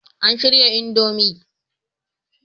An shirya Indomie